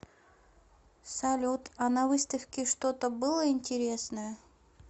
салют а на выставке что то было интересное